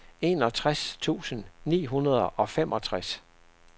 enogtres tusind ni hundrede og femogtres